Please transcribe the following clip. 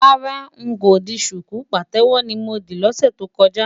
Rárá,n kò di ṣùkú, pàtẹ́wọ́ ni mo dì lọ́sẹ̀ tó kọjá.